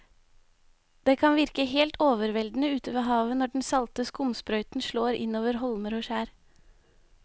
Det kan virke helt overveldende ute ved havet når den salte skumsprøyten slår innover holmer og skjær.